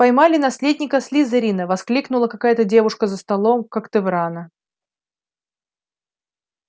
поймали наследника слизерина воскликнула какая-то девушка за столом когтеврана